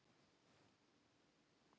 Taugar Lóu urðu rauðglóandi.